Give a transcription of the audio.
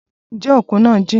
Ǹjẹ́ òkun náà jìn?